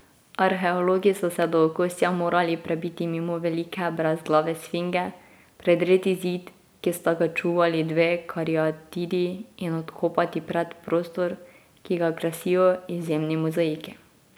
Arheologi so se do okostja morali prebiti mimo velike brezglave sfinge, predreti zid, ki sta ga čuvali dve kariatidi in odkopati predprostor, ki ga krasijo izjemni mozaiki.